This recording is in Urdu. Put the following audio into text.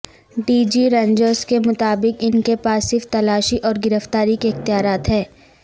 ڈی جی رینجرز کے مطابق ان کے پاس صرف تلاشی اور گرفتاری کے اختیارات ہیں